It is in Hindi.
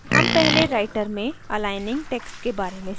हम पहले writer में aligning text के बारे में सीखेंगे